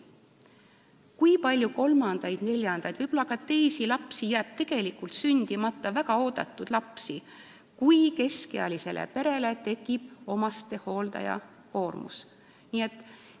Kui palju kolmandaid, neljandaid ja võib-olla ka teisi lapsi jääb sündimata, väga oodatud lapsi, kui keskealises peres tekib omastehoolduse koormus!